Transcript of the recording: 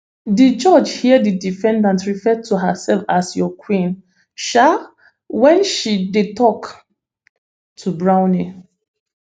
di judge hear di defendant refer to herself as your queen um wen she dey tok to brownley